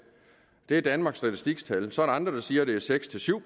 det er danmarks statistiks tal så er der andre der siger at det er seks syv